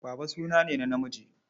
Baba suna ne na namiji.